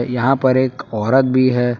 यहां पर एक औरत भी है।